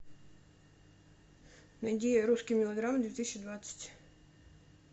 найди русские мелодрамы две тысячи двадцать